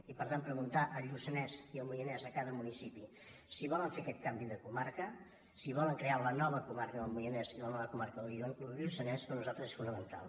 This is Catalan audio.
i per tant preguntar al lluçanès i al moianès a cada municipi si volen fer aquest canvi de comarca si volen crear la nova comarca del moianès i la nova comarca del lluçanès per nosaltres és fonamental